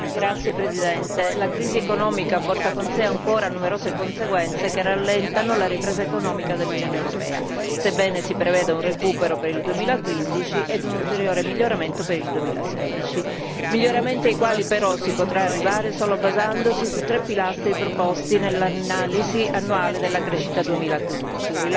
Signora Presidente, onorevoli colleghi, la crisi economica porta con sé ancora numerose conseguenze che rallentano la ripresa economica dell'Unione europea, sebbene si preveda un recupero per il 2015 e un ulteriore miglioramento per il 2016. Si tratta di miglioramenti ai quali però si potrà arrivare solo basandosi su tre pilastri proposti nell'analisi annuale della crescita 2015